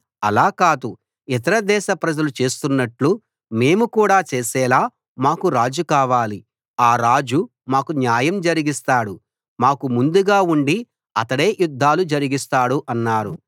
అలా కాదు ఇతర దేశ ప్రజలు చేస్తున్నట్లు మేము కూడా చేసేలా మాకూ రాజు కావాలి ఆ రాజు మాకు న్యాయం జరిగిస్తాడు మాకు ముందుగా ఉండి అతడే యుద్ధాలు జరిగిస్తాడు అన్నారు